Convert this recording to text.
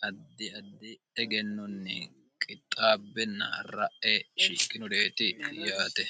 haddi addi dhegennonni qixxaabbinnara'e shikkinu deeti yoate